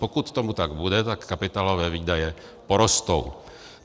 Pokud tomu tak bude, tak kapitálové výdaje porostou.